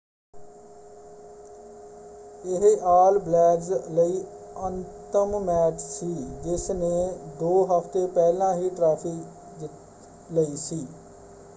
ਇਹ all blacks ਲਈ ਅੰਤਮ ਮੈਚ ਸੀ ਜਿਸ ਨੇ ਦੋ ਹਫ਼ਤੇ ਪਹਿਲਾਂ ਹੀ ਟਰਾਫ਼ੀ ਜਿੱਤ ਲਈ ਸੀ।